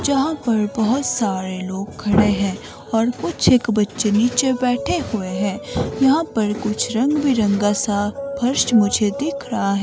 जहां पर बहोत सारे लोग खड़े हैं और कुछ एक बच्चे नीचे बैठे हुए हैं यहां पर कुछ रंग बिरंगा सा फर्श मुझे दिख रहा--